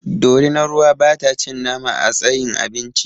Dorinar ruwa ba ta cin nama a tsayin abinci